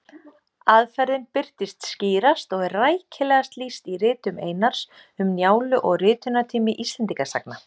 Aðferðin birtist skýrast og er rækilegast lýst í ritum Einars, Um Njálu og Ritunartími Íslendingasagna.